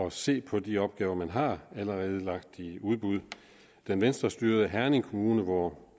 at se på de opgaver man allerede har lagt i udbud den venstrestyrede herning kommune hvor